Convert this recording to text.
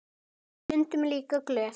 Og stundum líka glöð.